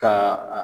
Ka